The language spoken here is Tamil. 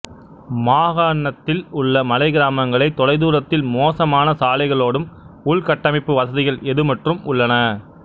மாகாண்ணதில் உள்ள மலை கிராமங்கள் தொலைதூரத்தில் மோசமான சாலைகளோடும் உள்கட்டமைப்பு வசதிகள் எதுமற்றும் உள்ளன